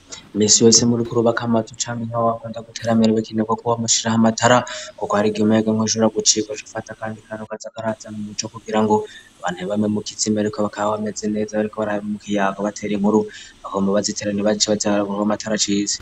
Misi yose uriko urubakwa amazu canke ikinogo co gushiramwo amatara kuko hariho igihe umuyagankuba ushobora gucika ugaca ufata akandi kantu kaza karazana umco kugirango abantu ntibagume mu kizime, ariko bakaba bameze neza bariko bayaga ikiyago batera inkuru, bakaguma bazitera naaho amatara acitse.